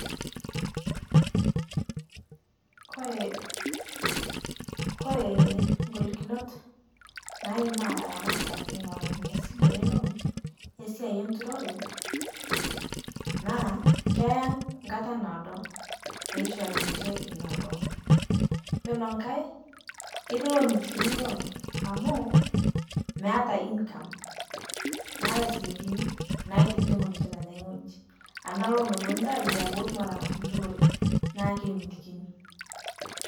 Kore, Kore ng'olikunot naimaa ilaramatak ing'oru Ina sile e loan esiai enturore naa keya nkata naado, pee ishori ninche Ina loan, iyiolo nkae, ketii iloomotikini loan amu meeta income meetae isikinkini naitijing'u ninche tene wueji, ena loan epuonu ninche ayiaya pee etum aatang'asu nturore neeku kemitikini.